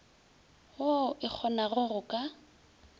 woo e kgonago go ka